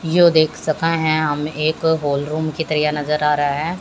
यो देख सके हैं हम एक हॉल रूम की तरह ये नजर आ रहा है।